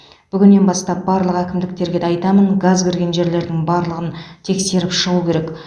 бүгіннен бастап барлық әкімдерге де айтамын газ кірген жерлердің барлығын тексеріп шығу керек